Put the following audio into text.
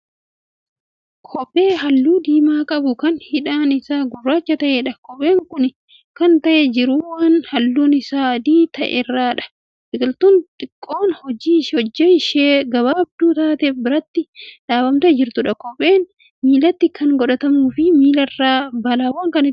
Kophee halluu diimaa qabu Kan hidhaan isaa gurraacha ta'eedha. kopheen Kuni Kan taa'ee jiru waan halluun Isaa adii ta'erradha. biqiltuun xiqqoon hojji ishee gabaabduu taate biraatti dhaabamtee jirtu. kopheen miilatti Kan godhatamuifi miilarraa balaawwaan Kan ittisuudha.